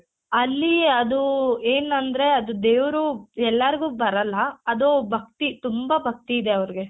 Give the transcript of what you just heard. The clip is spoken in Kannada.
ಅಲ್ಲಿ ಅದು ಏನಂದ್ರೆ ಅದು ದೇವ್ರು ಎಲ್ಲಾರ್ಗು ಬರಲ್ಲ ಅದು ಭಕ್ತಿ ತುಂಬಾ ಭಕ್ತಿ ಇದೆ ಅವ್ರ್ಗೆ.